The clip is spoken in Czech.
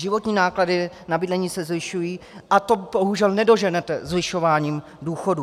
Životní náklady na bydlení se zvyšují a to bohužel nedoženete zvyšováním důchodů.